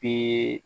Bɛ